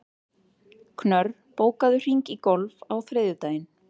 Knörr, bókaðu hring í golf á þriðjudaginn.